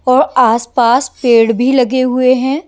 और आसपास पेड़ भी लगे हुए हैं।